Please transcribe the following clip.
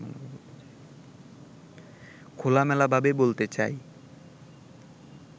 খোলামেলাভাবে বলতে চাই